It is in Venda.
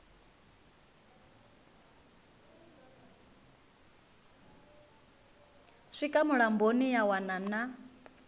swika mulamboni ya wana na